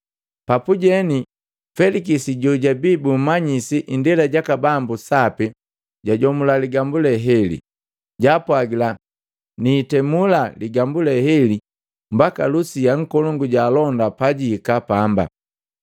Papujeni, Felikisi jojabii bumanyisi indela jaka bambu sapi, jajomula ligambu le heli. Jaapwajila, “Niitemula ligambule heli mbaka Lusia nkolongu jaalonda pajihika pamba.”